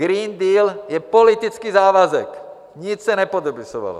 Green Deal je politický závazek, nic se nepodepisovalo.